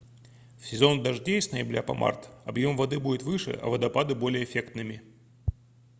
в сезон дождей с ноября по март объём воды будет выше а водопады — более эффектными